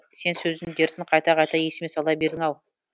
сен сөздің дертін қайта қайта есіме сала бердің ау